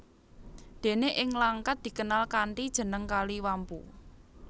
Déné ing Langkat dikenal kanthi jeneng Kali Wampu